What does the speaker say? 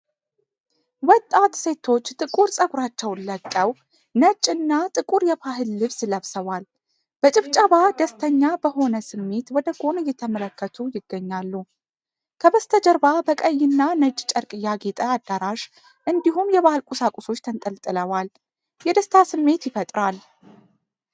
ወጣት ሴቶች ጥቁር ፀጉራቸውን ለቀው፣ ነጭና ጥቁር የባህል ልብስ ለብሰዋል። በጭብጨባ ደስተኛ በሆነ ስሜት ወደ ጎን እየተመለከቱ ይገኛሉ። ከበስተጀርባ በቀይና ነጭ ጨርቅ ያጌጠ አዳራሽ፣ እንዲሁም የባህል ቁሳቁሶች ተንጠልጥለዋል፤ የደስታ ስሜት ይፈጥራል።